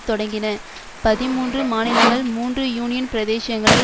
தொடங்கின பதிமூன்று மாநிலங்கள் மூன்று யூனியன் பிரதேசங்களை